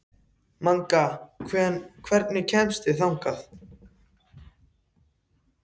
Manga, hvernig kemst ég þangað?